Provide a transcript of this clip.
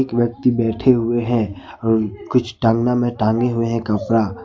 एक व्यक्ति बैठे हुए हैं और कुछ टांगना में टांगे हुए हैं कपड़ा।